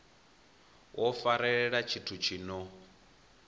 wo farelela tshithu tshi no